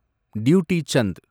duty Chand